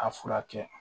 A furakɛ